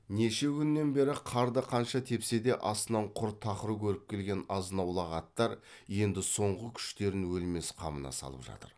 неше күннен бері қарды қанша тепсе де астынан құр тақыр көріп келген азынаулақ аттар енді соңғы күштерін өлмес қамына салып жатыр